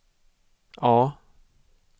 A